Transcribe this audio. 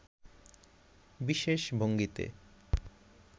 বিশেষ ভঙ্গিতে